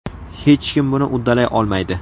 Hech kim buni uddalay olmaydi!